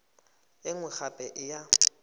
e nngwe gape e ya